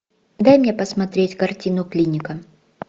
дай мне посмотреть картину клиника